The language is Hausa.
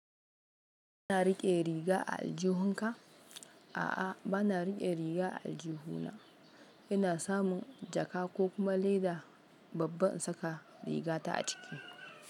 Kana riƙe riga a aljihun ka? A'a, ba na riƙe riga a aljuhuna. Ina samun jaka ko kuma leda babba in saka rigata a ciki.